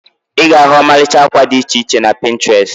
Ị ga-ahu ọmalịcha akwa did iche iche na Pịntrest